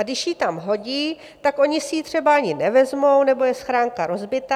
A když ji tam hodí, tak oni si ji třeba ani nevezmou nebo je schránka rozbitá.